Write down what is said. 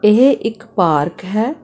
ਇਹ ਇੱਕ ਪਾਰਕ ਹੈ।